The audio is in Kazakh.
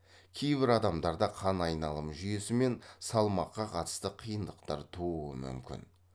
кейбір адамдарда қан айналым жүйесі мен салмаққа қатысты қиындықтар тууы мүмкін